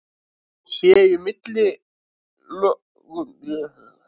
Séu í millilögunum merki um suðræna skóga var loftslagið greinilega hlýtt, og svo framvegis.